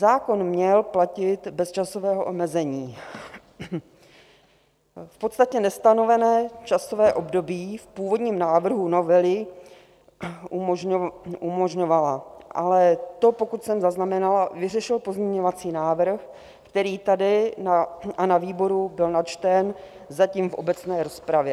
Zákon měl platit bez časového omezení, v podstatě nestanovené časové období v původním návrhu novely umožňovala, ale to, pokud jsem zaznamenala, vyřešil pozměňovací návrh, který tady a na výboru byl načten zatím v obecné rozpravě.